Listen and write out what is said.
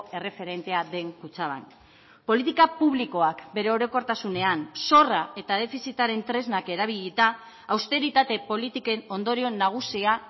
erreferentea den kutxabank politika publikoak bere orokortasunean zorra eta defizitaren tresnak erabilita austeritate politiken ondorio nagusia